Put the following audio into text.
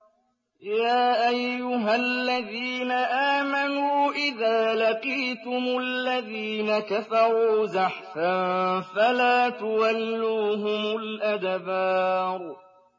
يَا أَيُّهَا الَّذِينَ آمَنُوا إِذَا لَقِيتُمُ الَّذِينَ كَفَرُوا زَحْفًا فَلَا تُوَلُّوهُمُ الْأَدْبَارَ